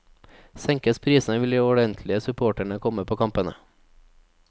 Senkes prisene vil de ordentlige supporterne komme på kampene.